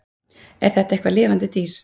Er þetta eitthvað lifandi dýr?